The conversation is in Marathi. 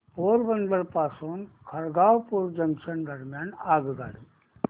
पोरबंदर पासून खरगपूर जंक्शन दरम्यान आगगाडी